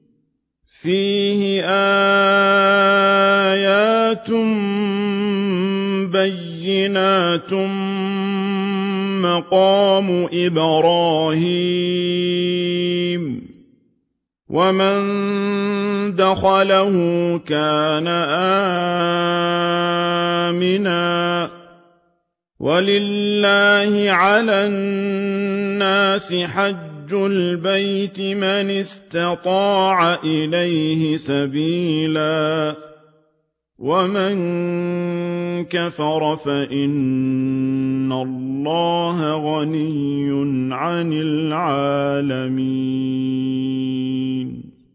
فِيهِ آيَاتٌ بَيِّنَاتٌ مَّقَامُ إِبْرَاهِيمَ ۖ وَمَن دَخَلَهُ كَانَ آمِنًا ۗ وَلِلَّهِ عَلَى النَّاسِ حِجُّ الْبَيْتِ مَنِ اسْتَطَاعَ إِلَيْهِ سَبِيلًا ۚ وَمَن كَفَرَ فَإِنَّ اللَّهَ غَنِيٌّ عَنِ الْعَالَمِينَ